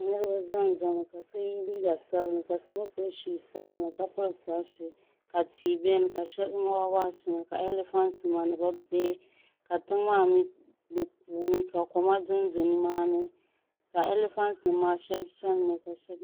Niribi zanza mi ka so ye liiga sabinli ka gba piri shuu sabinli ka piri sɔɣusin ka tia beni ka shɛŋa waɣawaɣa beni ka alifantinima ni bɛ bihi ka tiŋa maa ni kuumi ka koma dondo ni maa ni ka elifantinima shɛbi chani mi.